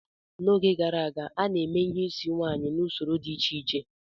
N'oge gara aga, a na-eme ihe isi nwaanyị n'usoro dị iche iche.